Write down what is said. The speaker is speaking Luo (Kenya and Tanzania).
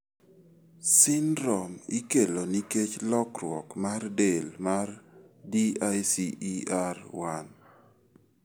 Syndrome ikelo nikech lokruok mar del mar DICER1.